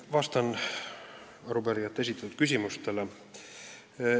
Vastan arupärijate esitatud küsimustele.